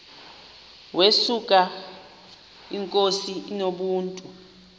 yesuka inkosi inomntu